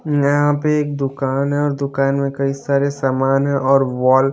यहां पे एक दुकान है दुकान में कई सारे सामान है और वॉल --